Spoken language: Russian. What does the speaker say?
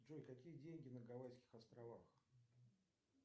джой какие деньги на гавайских островах